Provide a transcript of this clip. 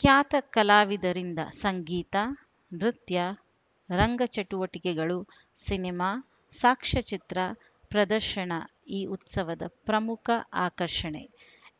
ಖ್ಯಾತ ಕಲಾವಿದರಿಂದ ಸಂಗೀತ ನೃತ್ಯ ರಂಗ ಚಟುವಟಿಕೆಗಳು ಸಿನಿಮಾ ಸಾಕ್ಷ್ಯಚಿತ್ರ ಪ್ರದರ್ಶನ ಈ ಉತ್ಸವದ ಪ್ರಮುಖ ಆಕರ್ಷಣೆ